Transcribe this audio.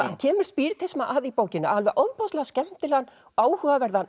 hann kemur spíritisma að í bókinni á ofboðslega skemmtilegan áhugaverðan